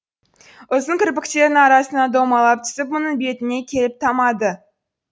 ұзын кірпіктерінің арасынан домалап түсіп мұның бетіне келіп тамады